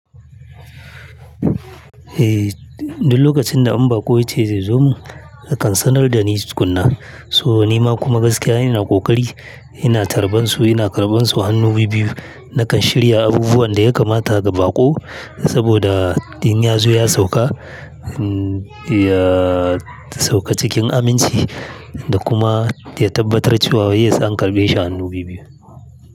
Eh, duk lokacin da in baƙo ya ce zai zo min, ya kan sanar da ni tukuna. To ni ma kuma gaskiya ina ƙoƙari, ina tarban su, ina karɓan su hannu bibiyu. Nakan shirya abubuwan da ya kamata ga baƙo saboda in ya zo ya sauƙa, ya sauƙa cikin aminci da kuma ya tabbatar cewa wai ya san an karɓe shi hannu bibbiyu.